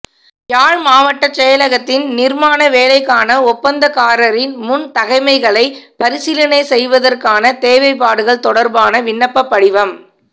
யாழ் மாவட்டச் செயலகத்தின் நிர்மாண வேலைக்கான ஒப்பந்தக்காரரின் முன் தகைமைகளைப் பரிசீலனை செய்வதற்கான தேவைப்பாடுகள் தொடர்பான விண்ணப்பப் படிவம்